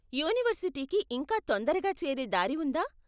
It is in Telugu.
యూనివర్సిటీకి ఇంకా తొందరగా చేరే దారి ఉందా?